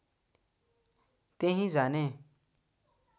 त्यहीँ जाने